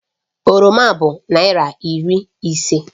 Oroma bụ naịra iri ise